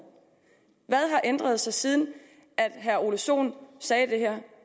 har ændret sig siden herre ole sohn sagde det her